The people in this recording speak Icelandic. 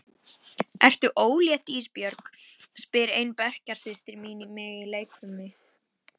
Ertu ólétt Ísbjörg, spyr ein bekkjarsystir mín mig í leikfimi.